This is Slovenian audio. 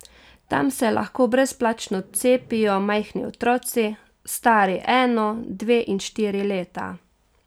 Tam se lahko brezplačno cepijo majhni otroci, stari eno, dve in štiri leta.